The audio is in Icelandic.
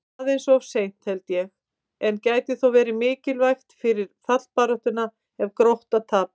Aðeins of seint, held ég, en gæti þó verið mikilvægt fyrir fallbaráttuna ef Grótta tapar!